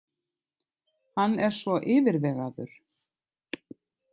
Hann er svo yfirvegaður.